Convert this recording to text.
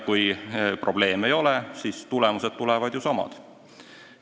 Kui probleeme ei ole, siis tulemused tulevad samad.